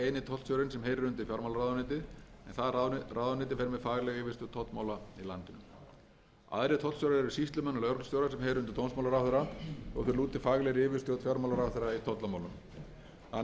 fer með faglega yfirstjórn tollamála í landinu aðrir tollstjórar eru sýslumenn og lögreglustjórar sem heyra undir dómsmálaráðherra þó þeir lúti faglegri yfirstjórn fjármálaráðherra í tollamálum þannig er fjárhagsleg og stjórnunarleg ábyrgð tollamála